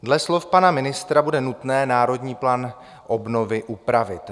Dle slov pana ministra bude nutné Národní plán obnovy upravit.